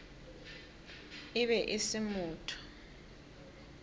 e be e se motho